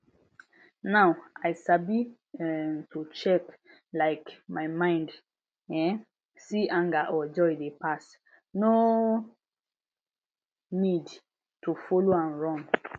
now i sabi um to check um my mind um see anger or joy dey pass no need to follow am run